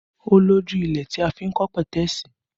Ó lójú ilẹ̀ tí a fi n kọ́ petesi